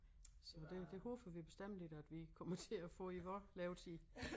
Så det det håber vi bestemt ikke at vi kommer til at få i vor levetid